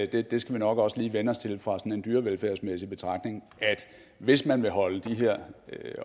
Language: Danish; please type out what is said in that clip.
det skal vi nok også lige vænne os til ud fra en dyrevelfærdsmæssig betragtning hvis man vil holde de her